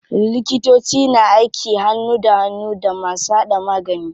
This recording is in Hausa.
Likitoci na aiki hannu da hannu da masu hada magani.